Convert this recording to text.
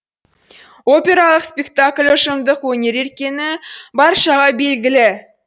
опералық спектакль ұжымдық өнер екені баршаға белгілі